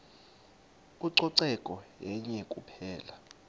ucoceko yenye kuphela